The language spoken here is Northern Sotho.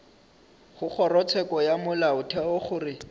go kgorotsheko ya molaotheo gore